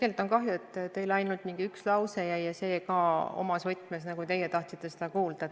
Tegelikult on kahju, et teile ainult mingi üks lause jäi meelde ja see ka omas võtmes, nii nagu teie tahtsite seda kuulda.